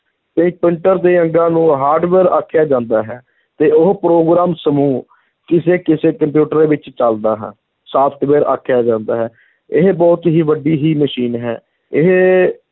ਦੇ ਅੰਗਾਂ ਨੂੰ hardware ਆਖਿਆ ਜਾਂਦਾ ਹੈ ਤੇ ਉਹ ਪ੍ਰੋਗਰਾਮ ਸਮੂਹ, ਕਿਸੇ ਕਿਸੇ ਕੰਪਿਊਟਰ ਵਿੱਚ ਚਲਦਾ ਹੈ software ਆਖਿਆ ਜਾਂਦਾ ਹੈ, ਇਹ ਬਹੁਤ ਹੀ ਵੱਡੀ ਹੀ ਮਸ਼ੀਨ ਹੈ, ਇਹ